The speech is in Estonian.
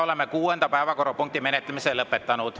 Oleme kuuenda päevakorrapunkti menetlemise lõpetanud.